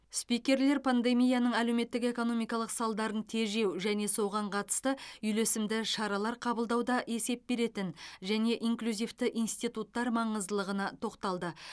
спикерлер пандемияның әлеуметтік экономикалық салдарын тежеу және соған қатысты үйлесімді шаралар қабылдауда есеп беретін және инклюзивті институттар маңыздылығына тоқталды